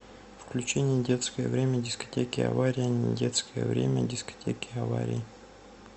включи недетское время дискотеки авария недетское время дискотеки аварии